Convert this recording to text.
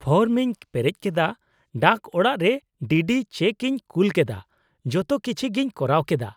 -Form ᱤᱧ ᱯᱮᱨᱮᱡ ᱠᱮᱫᱟ, ᱰᱟᱠ ᱚᱲᱟᱜ ᱨᱮ ᱰᱤᱰᱤ ᱪᱮᱠ ᱤᱧ ᱠᱩᱞ ᱠᱮᱫᱟ, ᱡᱚᱛᱚ ᱠᱤᱪᱷᱤᱜᱤᱧ ᱠᱚᱨᱟᱣ ᱠᱮᱫᱟ ᱾